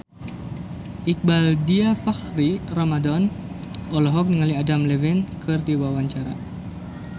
Iqbaal Dhiafakhri Ramadhan olohok ningali Adam Levine keur diwawancara